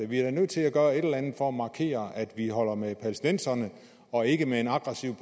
vi er da nødt til at gøre et eller andet for at markere at vi holder med palæstinenserne og ikke med en aggressiv